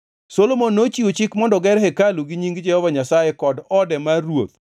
Solomon nochiwo chik mondo ger hekalu ni Nying Jehova Nyasaye kod ode mar ruoth.